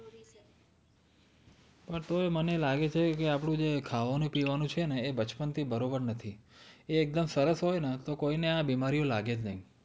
તોય મને લાગેછે આપણું ખાવાનું પીવાનું એ બચપણ થી બરોબર નથી એ એક્દમ સરસ હોય ને તો કોઈને આ બીમારીઓ લાગે જ નઈ